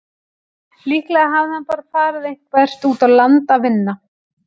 Líklega hafði hann bara farið eitthvert út á land að vinna.